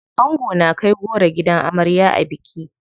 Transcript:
Ango na kai goro gidan amarya a biki.